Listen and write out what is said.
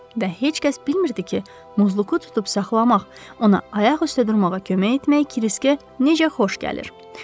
Və heç kəs bilmirdi ki, Muzluku tutub saxlamaq, ona ayaq üstə durmağa kömək etmək Kriskə necə xoş gəlir.